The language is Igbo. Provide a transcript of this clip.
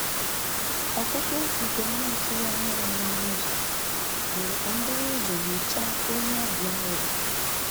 Ọ́kụ́kụ́ nke m na-atụ́ghị́ ányá yá n'ọnụ́ ụ́zọ̀ mèrè kà m búrú ụ́zọ̀ nyòcháá ónyé ọ́bị̀à ahụ́ bù.